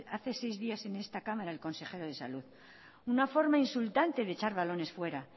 hace seis días en esta cámara el consejero de salud una forma insultante de echar balones fuera